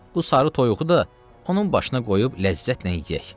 Bu sarı toyuğu da onun başına qoyub ləzzətlə yeyək.